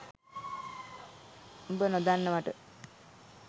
උඹ නොදන්නවට